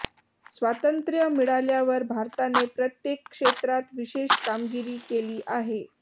स्वातंत्र्य मिळाल्यावर भारताने प्रत्येक क्षेत्रात विशेष कामगिरी केली आहे